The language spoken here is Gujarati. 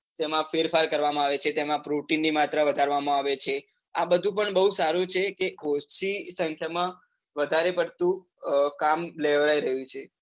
તેમાં ફેરફાર કરવા માં આવે છે તેમાં protein ની માત્રા વધારવા માં આવે છે, આ બધું પણ બહુ સારું છે તે ઓછી સંખ્યા માં વધારે પડતું કામ લેવરાવી રહ્યું છે.